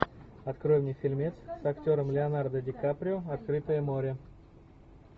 открой мне фильмец с актером леонардо ди каприо открытое море